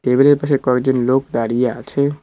পাশে কয়েকজন লোক দাঁড়িয়ে আছে।